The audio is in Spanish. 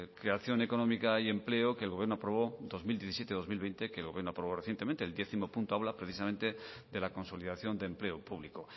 creación económica y empleo que el gobierno aprobó dos mil diecisiete dos mil veinte que el gobierno aprobó recientemente el décimo punto habla precisamente de la consolidación de empleo público